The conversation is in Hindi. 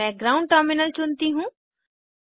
मैं ग्रौउंड टर्मिनल चुनती हूँ